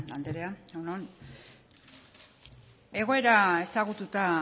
andrea egun on egoera ezagututa